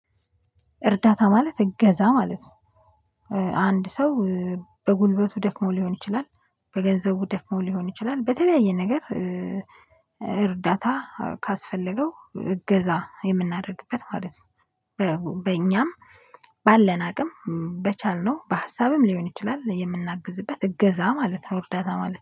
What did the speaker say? እርዳታ ማለት እገዛ ማለት ነው። አንድ ሰው በጉልበቱ ደክሞ ሊሆን ይችላል በገንዘቡ ደክሞ ሊሆን ይችላል በተለያየ ነገር። እርዳታ ካስፈለገው እገዛ የምናደርግበት ማለት ነው። በእኛም ባለን አቅም በቻልነው በሀሳብም ሊሆን ይችላል የምናግዝበት እገዛ ማለት ነው። እርዳታ ማለት ነው